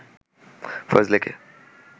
ফয়স লেকে